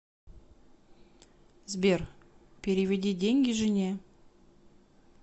сбер переведи деньги жене